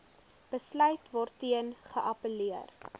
besluit waarteen geappelleer